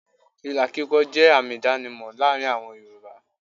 Ìlà kíkọ jẹ́ àmì ìdánimọ̀ láàárín àwọn Yorùbá.